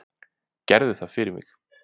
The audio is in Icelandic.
Gerðu það fyrir mig.